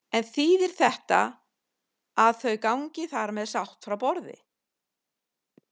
En þýðir þetta að þau gangi þar með sátt frá borði?